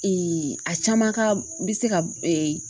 a caman ka n bɛ se ka